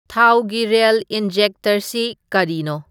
ꯊꯥꯎꯒꯤ ꯔꯦꯜ ꯏꯟꯖꯦꯛꯇꯔꯁꯤ ꯀꯔꯤꯅꯣ